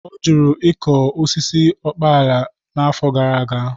Ọ jụrụ ịkụ osisi ukpala n'afọ gara aga.